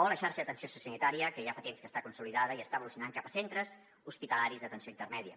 o la xarxa d’atenció sociosanitària que ja fa temps que està consolidada i està evolucionant cap a centres hospitalaris d’atenció intermèdia